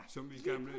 Som vi gamle